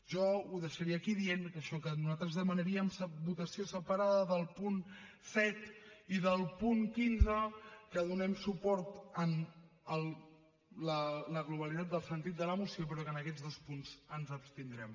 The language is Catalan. jo ho deixaria aquí dient això que nosaltres demanaríem votació separada del punt set i del punt quinze que donem suport a la globalitat del sentit de la moció però que en aquests dos punts ens abstindrem